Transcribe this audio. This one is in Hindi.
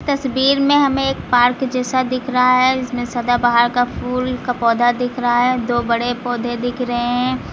तस्वीर में हमें एक पार्क जैसा दिख रहा है इसमें सदाबहार का फूल का पौधा दिख रहा है दो बड़े पौधे दिख रहे हैं।